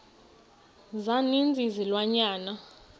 za ninzi izilwanyana